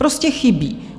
Prostě chybí.